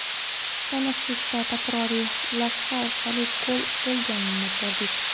Tanaffusda takroriy lavha orqali gol bo‘lganini ko‘rdik.